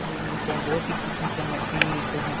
मिलते है बहुत ही किस्म के मछली मिलते है।